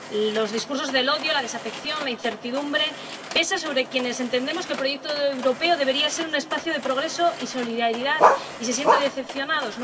Los discursos del odio, la desafección o la incertidumbre pesan sobre quienes entienden que el proyecto europeo debería ser un espacio de progreso y solidaridad y se sienten decepcionados.